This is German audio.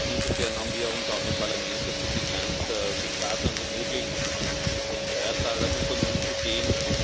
Insofern haben wir uns auch im Parlament dazu bekannt, so sparsam wie möglich mit den Steuerzahlermitteln umzugehen.